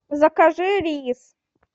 закажи рис